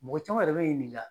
Mɔgɔ caman yɛrɛ bɛ n'i ɲininga